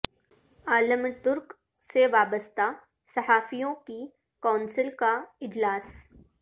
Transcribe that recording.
عالم ترک سے وابستہ صحافیوں کی کونسل کا اجلاس